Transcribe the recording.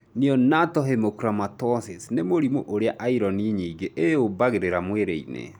Neonatal hemochromatosis nĩ mũrimũ ũrĩa iron nyingĩ ĩyũmbagĩrĩra mwĩrĩ-inĩ